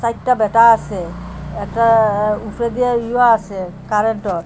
চাইরটা ব্যাটা আসে একটা আ উফরে দিয়া ইয়া আসে কারেন্টও।